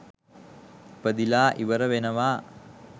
ඉපදිලා ඉවර වෙනවා.